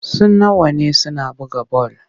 Suna wane suna buga bal.